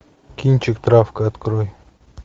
кинчик травка открой